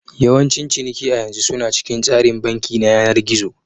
Yawancin ciniki a yanzu suna cikin tsarin banki na yanar gizo.